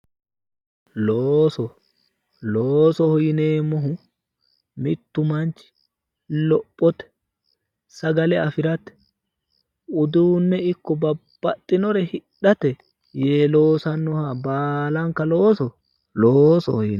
Looso loosoho yineemmohu mittu manchi lophote sagale afirate uduunne ikko babbaxxinore hidhate yee loosannoha baalanka looso loosoho yinanni